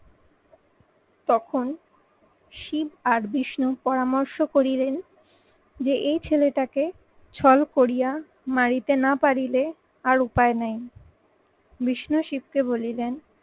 তখন শিব আর বিষ্ণুর পরামর্শ করিলেন যে এই ছেলেটাকে ছল করিয়া মারিতে না পারিলে আর উপায় নেই। বিষ্ণু শিবকে বলিলেন